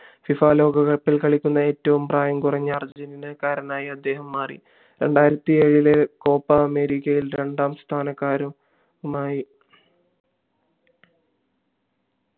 FIFA world കപ്പിൽ കളിക്കുന്ന ഏറ്റവും പ്രായം കുറഞ്ഞ അർജന്റീനക്കാരനായി അദ്ദേഹം മാറി രണ്ടായിരത്തി ഏഴിലെ കോപ്പാ അമേരിക്കയിൽ രണ്ടാം സ്ഥാനക്കാരുംമായി